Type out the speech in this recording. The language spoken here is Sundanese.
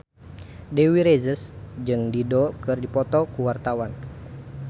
Dewi Rezer jeung Dido keur dipoto ku wartawan